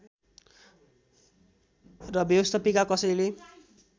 र व्यवस्थापिका कसैले